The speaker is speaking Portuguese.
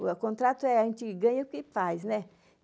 O a contrato é a gente ganha o que faz, né?